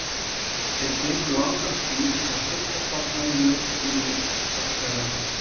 Þeir gengu langan stíg með styrka stofna í laufskrúði beggja vegna.